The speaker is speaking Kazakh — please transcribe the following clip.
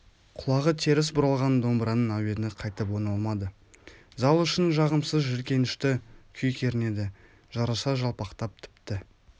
құлағы теріс бұралған домбыраның әуені қайтып оңалмады зал ішін жағымсыз жиіркенішті күй кернеді жарыса жалпақтап тіпті